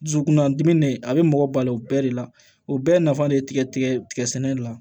Dusukunnadimi de a bɛ mɔgɔ balo o bɛɛ de la o bɛɛ nafa de ye tigɛ tigɛ tigɛ sɛnɛ de la